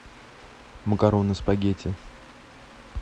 макароны спагетти